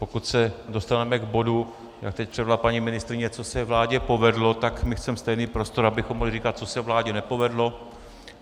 Pokud se dostaneme k bodu, jak teď předvedla paní ministryně, co se vládě povedlo, tak my chceme stejný prostor, abychom mohli říkat, co se vládě nepovedlo.